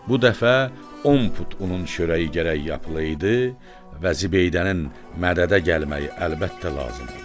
Bu dəfə 10 put unun çörəyi gərək yapılıydı və Zibeydənin mədədə gəlməyi əlbəttə lazım oldu.